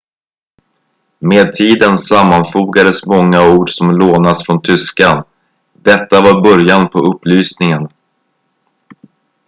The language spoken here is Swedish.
med tiden sammanfogades många ord som lånats från tyskan detta var början på upplysningen